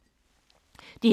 DR1